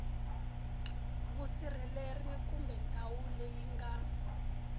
vusirheleri kumbe ndhawu leyi nga